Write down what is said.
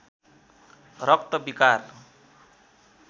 रक्त विकार